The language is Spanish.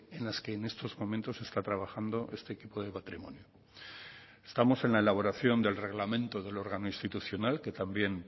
en las que en estos momentos está trabajando este equipo de patrimonio estamos en la elaboración del reglamento del órgano institucional que también